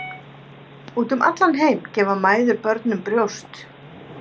Út um allan heim gefa mæður börnum brjóst.